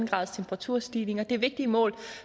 grads temperaturstigning og det er vigtige mål